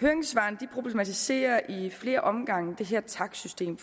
høringssvarene problematiserer i flere omgange det her takstsystem